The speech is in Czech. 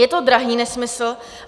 Je to drahý nesmysl.